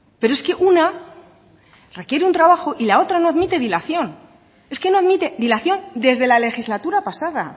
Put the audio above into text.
pero es que una requiere un trabajo y la otra no admite dilación es que no admite dilación desde la legislatura pasada